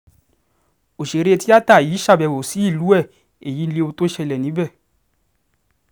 ọ̀sẹ̀rẹ̀ tíata yìí ṣàbẹ̀wò sílùú ẹ̀ èyí lohun tó ṣẹlẹ̀ níbẹ̀